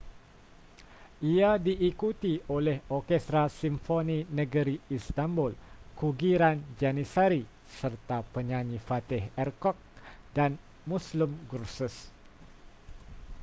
ia diikuti oleh orkestra simfoni negeri istanbul kugiran janissary serta penyanyi fatih erkoç dan müslüm gürses